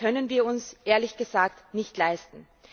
Das können wir uns ehrlich gesagt nicht leisten!